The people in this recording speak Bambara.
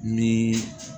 Ni